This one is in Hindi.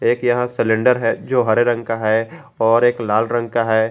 एक यहां सिलेंडर है जो हरे रंग का है और एक लाल रंग का है।